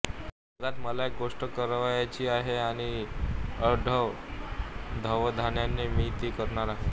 जगात मला एक गोष्ट करावयाची आहे आणि अढळ अवधानाने मी ती करणार आहे